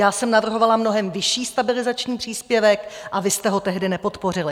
Já jsem navrhovala mnohem vyšší stabilizační příspěvek a vy jste ho tehdy nepodpořili.